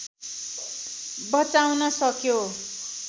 बचाउन सक्यो